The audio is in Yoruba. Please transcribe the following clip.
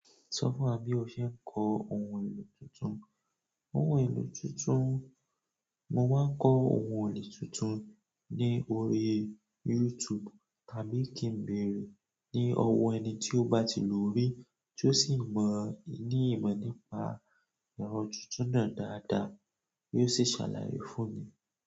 Sọ fún wa bí o ṣe ń kọ ohun èlò tuntun. Ohun èlò tuntun, mo máa ń kọ ohun èlò tuntun ní orí YouTube tàbí kí ń bèèrè ní ọwọ́ ẹni tí ó bá ti lò ó rí tí ó sì ń mọ ní ìmọ̀ nípa ẹ̀rọ tuntun náà dáadáa kí ó sì ṣàlàyé fún mi.